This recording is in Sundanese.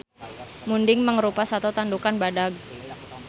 Munding mangrupa sato tandukan badag